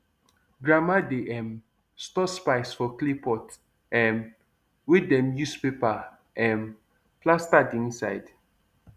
grandma dey um store spice for clay pot um wey dem use paper um plaster the inside